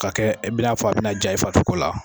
Ka kɛ i bɛn'a fɔ a bɛna ja i fari sogo la